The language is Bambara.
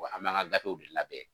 an bɛ an ŋa gafew de labɛn